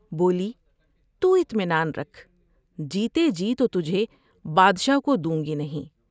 بولی تو اطمینان رکھ ، جیتے ہی تو تجھے بادشاہ کو دوں گی نہیں ۔